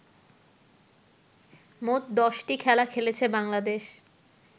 মোট দশটি খেলা খেলেছে বাংলাদেশ